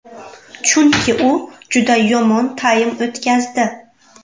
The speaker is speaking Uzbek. Chunki u juda yomon taym o‘tkazdi.